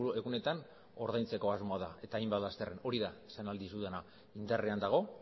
egunetan ordaintzeko asmoa da eta hainbat lasterren hori da esan ahal dizudana indarrean dago